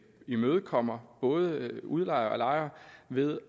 imødekommer både udlejere og lejere ved